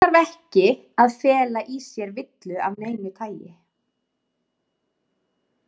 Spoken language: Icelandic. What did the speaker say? Slíkt þarf ekki að fela í sér villu af neinu tagi.